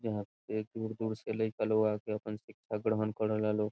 यहाँ ढेर दूर-दूर से लइका लोग आके आपन शिक्षा ग्रहण करेला लोग।